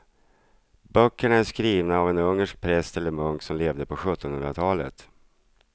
Böckerna är skrivna av en ungersk präst eller munk som levde på sjuttonhundratalet.